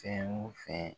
Fɛn o fɛn